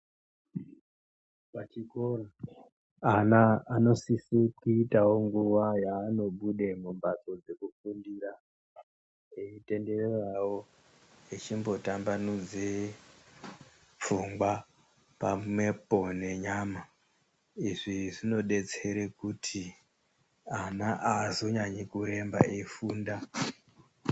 Pachikora ana anosise kuitavo nguva yaanobude mumhatso dzekufundira. Eitendereravo echimbotambanudze pfungwa pamwepo nenyama. Izvi zvinobetsere kuti ana azonyanyikuremba eifunda.